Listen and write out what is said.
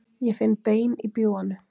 Ég finn bein í bjúganu.